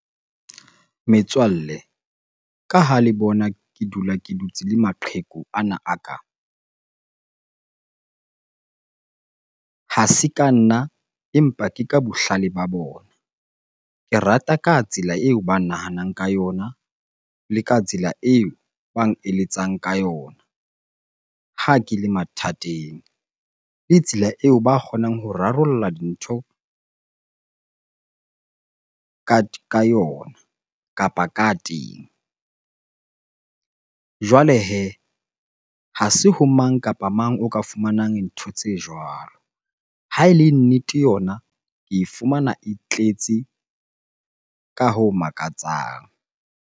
Metswalle ka ha le bona ke dula ke dutse le maqheku ana a ka. Ha se ka nna empa ke ka bohlale ba bona. Ke rata ka tsela eo ba nahanang ka yona le ka tsela eo bang eletsang ka yona ha ke le mathateng. Le tsela eo ba kgonang ho rarolla dintho ka yona kapa ka teng. Jwale hee ha se ho mang kapa mang o ka fumanang ntho tse jwalo. Ha e le nnete yona ke e fumana, e tletse ka ho makatsang.